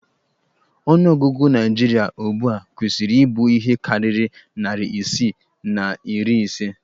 Ọnụ ọgụgụ Naijiria ugbua kwesiri ibụ ihe karịrị narị isii na iri ise